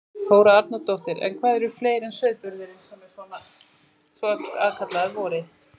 Þóra Arnórsdóttir: En hvað er fleira en sauðburðurinn sem er svona aðkallandi á vorin?